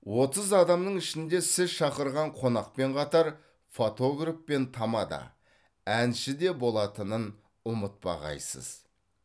отыз адамның ішінде сіз шақырған қонақпен қатар фотограф пен тамада әнші де болатынын ұмытпағайсыз